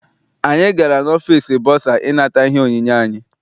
Anyị gara n'ọfịịsi bọsa I nata ihe onyinye anyị.